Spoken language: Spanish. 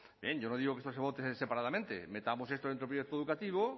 yo no digo que eso se vote separadamente metamos esto dentro del proyecto educativo